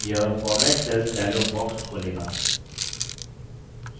यह format cells dialog box खोलेगा